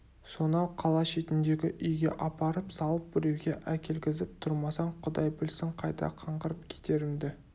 сонау қала шетіндегі үйге апарып салып біреуге әкелгізіп тұрмасаң құдай білсін қайда қаңғырып кетерімді